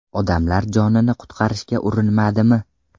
Odamlar jonini qutqarishga urinmadimi?